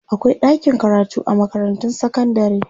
akwai ɗakin karatu a makarantun sekandare